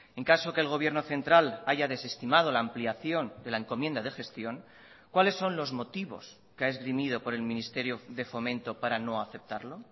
en caso que el gobierno central haya desestimado la ampliación de la encomienda de gestión cuáles son los motivos que ha esgrimido por el ministerio de fomento para no aceptarlo